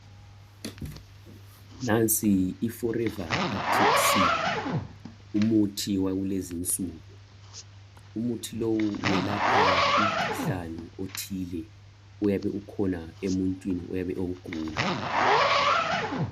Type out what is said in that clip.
Nansi iforever ACTIC sea umuthi wakulezinsuku. Umuthi lowu uyelapha umkhuhlane othile, oyabe ukhona emuntwini oyabe ewugula.